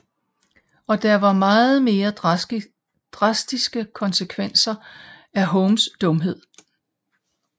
Og der er meget mere drastiske konsekvenser af Homers dumhed